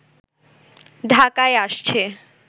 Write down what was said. ঢাকায় আসছে